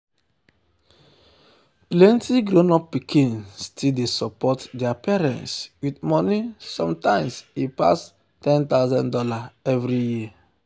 plenty grown pikin still dey support their parents with money sometimes e pass one thousand dollars0 every year.